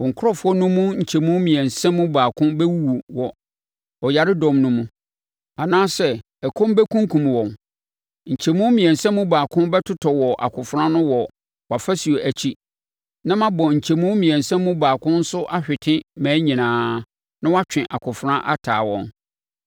Wo nkurɔfoɔ no mu nkyɛmu mmiɛnsa mu baako bɛwuwu wɔ ɔyaredɔm no mu, anaasɛ ɛkɔm bɛkunkum wɔn; nkyɛmu mmiɛnsa mu baako bɛtotɔ wɔ akofena ano wɔ wʼafasuo akyi, na mabɔ nkyɛmu mmiɛnsa mu baako nso ahwete mmaa nyinaa, na matwe akofena ataa wɔn.